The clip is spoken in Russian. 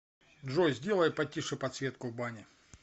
джой сделай потише подсветку в бане